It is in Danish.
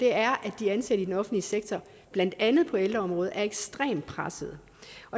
er at de ansatte i den offentlige sektor blandt andet på ældreområdet er ekstremt pressede